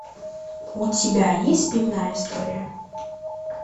у тебя есть пивная история